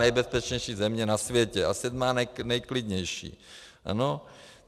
nejbezpečnější země na světě a 7. nejklidnější, ano?